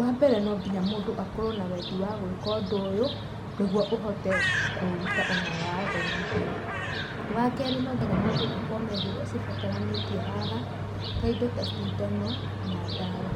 Wambere no nginya mũndũ akorwo na wendi wa gwĩka ũndũ ũyũ nĩguo ũhote kũruta ona wathomithio, wakerĩ no nginya mũndũ akorwo na indo iria cibataranĩtie haha ta indo ta cindano na ndawa,